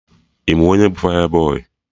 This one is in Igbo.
Ị ma onye bụ fayabọy?